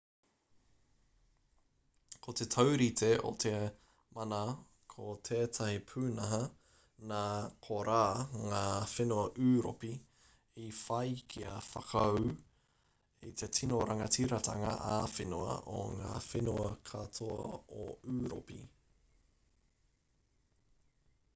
ko te taurite o te mana ko tētahi pūnaha nā korā ngā whenua ūropi i whai kia whakaū i te tino rangatiratanga ā-whenua o ngā whenua katoa o ūropi